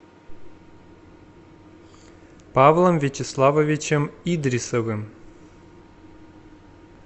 павлом вячеславовичем идрисовым